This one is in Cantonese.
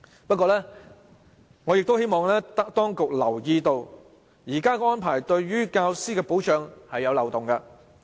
不過，我希望當局留意，現時的安排對於教師的保障尚有漏洞。